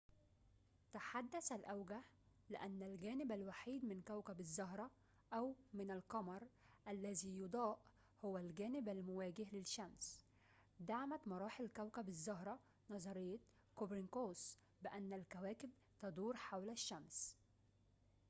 تحدث الأوجه لأن الجانب الوحيد من كوكب الزهرة أو من القمر الذي يُضاء هو الجانب المواجه للشمس. دعمت مراحل كوكب الزهرة نظرية كوبرنيكوس بأن الكواكب تدور حول الشمس